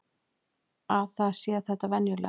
Að það sé þetta venjulega.